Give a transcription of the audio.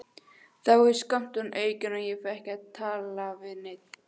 Þá er skammturinn aukinn og ég fæ ekki að tala við neinn.